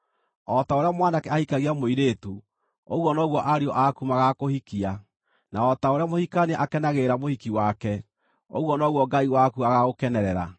O ta ũrĩa mwanake ahikagia mũirĩtu, ũguo noguo ariũ aku magaakũhikia; na o ta ũrĩa mũhikania akenagĩrĩra mũhiki wake, ũguo noguo Ngai waku agaagũkenerera.